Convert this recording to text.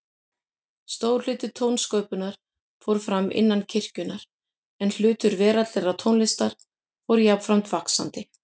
Stór hluti tónsköpunar fór fram innan kirkjunnar, en hlutur veraldlegrar tónlistar fór jafnframt vaxandi.